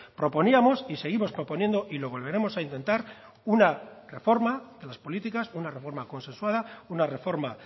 proponíamos y seguimos proponiendo y lo volveremos a intentar una reforma de las políticas una reforma consensuada una reforma